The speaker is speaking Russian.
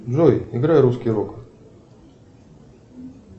джой играй русский рок